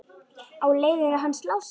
Á leiðinu hans Lása?